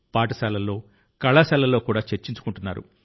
పాఠశాలల్లో కళాశాలల్లో కూడా చర్చించుకుంటున్నారు